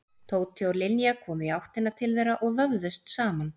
Tóti og Linja komu í áttina til þeirra og vöfðust saman.